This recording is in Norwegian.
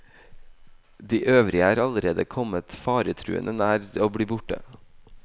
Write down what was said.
De øvrige er allerede kommet faretruende nær å bli borte.